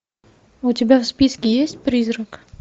у тебя в списке есть призрак